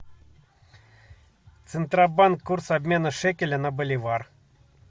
центробанк курс обмена шекеля на боливар